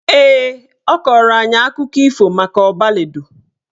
Ee, ọ kọrọ anyị akụkọ ifo maka Ọbaledo